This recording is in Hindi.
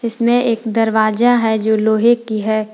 इसमें एक दरवाजा है जो लोहे का है।